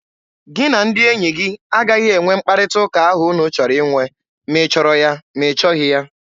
Gị na ndị enyi gị agaghị enwe mkparịta ụka ahụ unu chọrọ inwe! Ma ị chọrọ ya, ma ị chọghị ya!